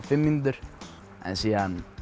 fimm mínútur en svo